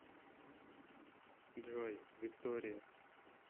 джой виктория